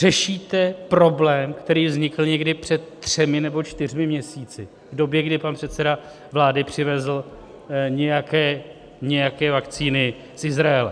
Řešíte problém, který vznikl někdy před třemi nebo čtyřmi měsíci v době, kdy pan předseda vlády přivezl nějaké vakcíny z Izraele.